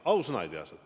Ausõna ei ole kuulnud.